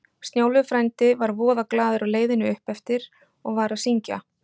Snjólfur frændi var voða glaður á leiðinni uppeftir og var að syngja